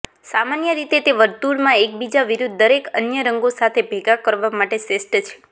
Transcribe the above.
સામાન્ય રીતે તે વર્તુળમાં એકબીજા વિરુદ્ધ દરેક અન્ય રંગો સાથે ભેગા કરવા માટે શ્રેષ્ઠ છે